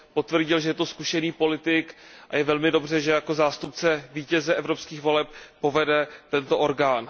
Potvrdil, že je to zkušený politik, a je velmi dobře, že jako zástupce vítěze evropských voleb povede tento orgán.